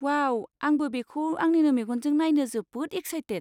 वाव! आंबो बेखौ आंनिनो मेगनजों नायनो जोबोद एकसाइटेट।